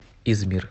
измир